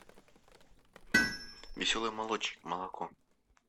веселый молочник молоко